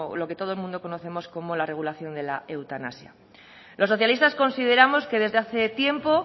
lo que todo el mundo conocemos como la regulación de la eutanasia los socialistas consideramos que desde hace tiempo